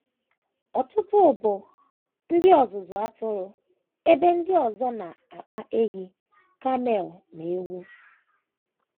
Ọtụtụ bụ ndị ọzụzụ atụrụ, ebe ndị ọzọ na - akpa ehi, camel, na ewu.